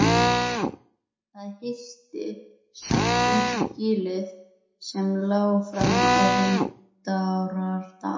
Það hillti samt undir gilið sem lá fram á Vindárdal.